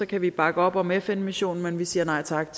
kan vi bakke op om fn missionen men vi siger nej tak